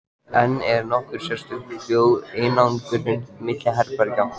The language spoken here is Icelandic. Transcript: En er nokkur sérstök hljóðeinangrun milli herbergja?